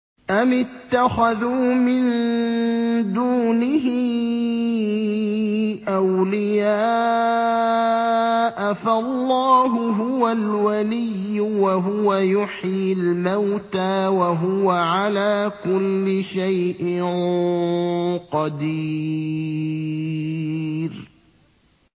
أَمِ اتَّخَذُوا مِن دُونِهِ أَوْلِيَاءَ ۖ فَاللَّهُ هُوَ الْوَلِيُّ وَهُوَ يُحْيِي الْمَوْتَىٰ وَهُوَ عَلَىٰ كُلِّ شَيْءٍ قَدِيرٌ